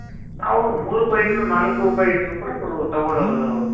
ಅವಾಗ ಮೂರು ರೂಪಾಯಿ ಇಟ್ರು ನಾಲ್ಕು ರೂಪಾಯಿ ಇಟ್ರು ಕೂಡಾ ಅವ್ರು ತಗೋಳೋದು.